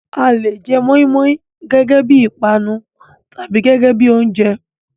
A le jẹ mọ́í-mọ́í gẹ́gẹ́ bí i ìpanu tàbí gẹ́gẹ́ bí i oúnjẹ.